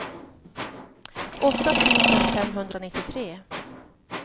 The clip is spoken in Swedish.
åtta tusen femhundranittiotre